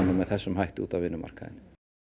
með þessum hætti út á vinnumarkaðinn